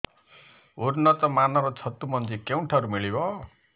ଉନ୍ନତ ମାନର ଛତୁ ମଞ୍ଜି କେଉଁ ଠାରୁ ମିଳିବ